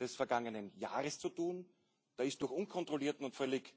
des vergangenen Jahres zu tun. Da ist durch unkontrollierten und völlig